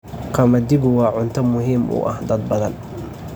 Qamadigu waa cunto muhiim u ah dad badan.